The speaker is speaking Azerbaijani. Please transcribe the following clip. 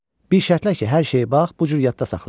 Bir şərtlə ki, hər şeyi bax bu cür yadda saxlayasan.